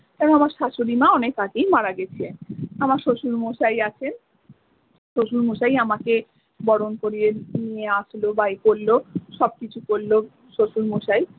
কারণ আমার শাশুড়ি মা অনেক আগেই মারা গেছে আমার শ্বশুর মশাই আছেন শ্বশুর মশাই আমাকে বরন করিয়ে নিয়ে আসলো বাড়িতে সব কিছু করলো শ্বশুর মশাই।